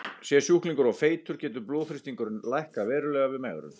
Sé sjúklingur of feitur getur blóðþrýstingurinn lækkað verulega við megrun.